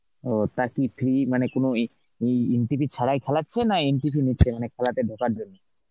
ওহ, তা কি fee মানে কোন এ~ ওই entry fee ছাড়াই খেলাচ্ছে না entry fee নিচ্ছে মানে খেলাতে ঢোকার জন্য?